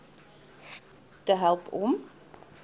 te help om